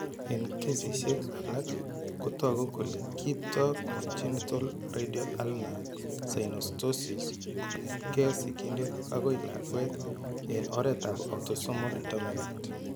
Eng' kesishek alak ko toku kole kiipto congenital radio ulnar synostosis kong'etke sigindet akoi lakwet eng' oretab autosomal dominant.